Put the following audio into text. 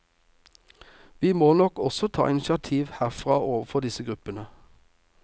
Vi må nok også ta initiativ herfra overfor disse gruppene.